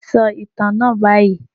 Sọ ìtàn náà báyìí.